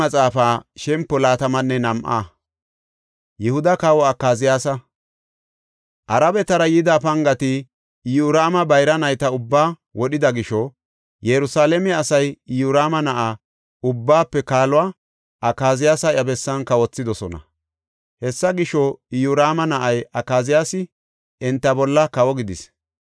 Arabetara yida pangati, Iyoraama bayra nayta ubbaa wodhida gisho Yerusalaame asay Iyoraama na7aa, ubbaafe kaaluwa, Akaziyaasa iya bessan kawothidosona. Hessa gisho, Iyoraama na7ay Akaziyaasi enta bolla kawo gidis.